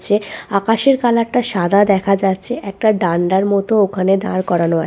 চ্ছে আকাশের কালারটা সাদা দেখা যাচ্ছে। একটা ডান্ডার মতো ওখানে দাঁড় করানো আ--